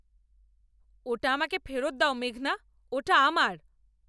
ওটা আমাকে ফেরত দাও, মেঘনা। ওটা আমার!